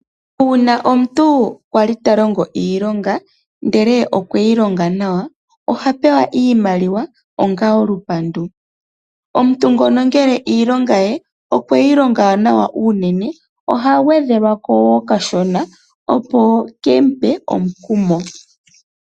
Uuna omuntu wali tolongo iilonga ndele okwe yi longa nawa, oha pewa iimaliwa onga olupandu. Omuntu ngono ngele iilonga ye nawa unene, oha gwedhelwa ko okashona opo kemu pe omukumo.